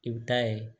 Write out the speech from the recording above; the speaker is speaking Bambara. I bɛ taa ye